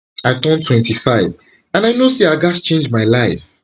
i turn twenty-five and i know say i gatz change my life